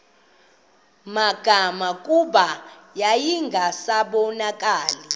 magama kuba yayingasabonakali